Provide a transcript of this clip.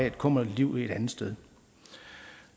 et kummerligt liv et andet sted